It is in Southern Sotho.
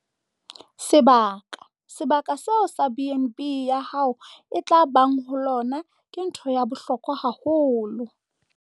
Sebaka - Sebaka seo BnB ya hao e tla bang ho lona ke ntho ya bohlokwa haholo.